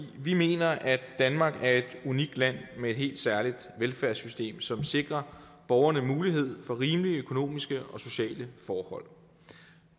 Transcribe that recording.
vi mener at danmark er et unikt land med et helt særligt velfærdssystem som sikrer borgerne mulighed for rimelige økonomiske og sociale forhold